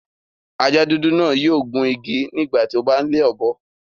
Ajá dúdú náà yio gun igi nígbà ti o n le ọ́bọ